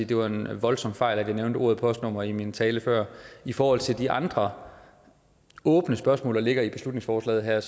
det var en voldsom fejl at jeg nævnte ordet postnumre i min tale før i forhold til de andre åbne spørgsmål der ligger i beslutningsforslaget her